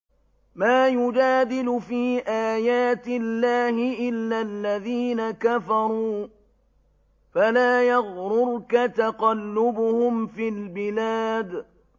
مَا يُجَادِلُ فِي آيَاتِ اللَّهِ إِلَّا الَّذِينَ كَفَرُوا فَلَا يَغْرُرْكَ تَقَلُّبُهُمْ فِي الْبِلَادِ